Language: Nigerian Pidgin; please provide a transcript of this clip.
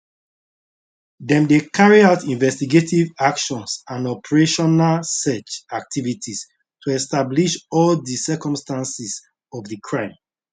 dem dey carry out investigative actions and operational search activities to establish all di circumstances of di crime